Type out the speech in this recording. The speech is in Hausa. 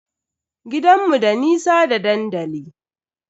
Gidanmu da nisa da dandali.